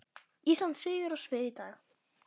Ísland stígur á svið í dag